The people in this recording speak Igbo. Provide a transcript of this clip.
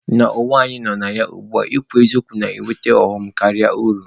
N'ụwa anyị nọ na ya ugbua, ịkwụ n'eziokwu na-eweta ọghọm karịa uru.